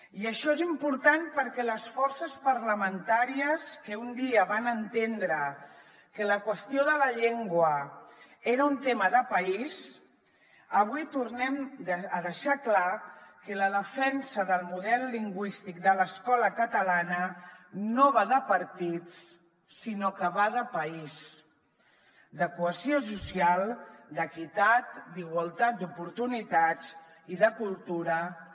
i això és important perquè les forces parlamentàries que un dia van entendre que la qüestió de la llengua era un tema de país avui tornem a deixar clar que la defensa del model lingüístic de l’escola catalana no va de partits sinó que va de país de cohesió social d’equitat d’igualtat d’oportunitats i de cultura també